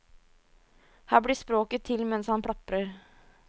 Her blir språket til mens han plaprer.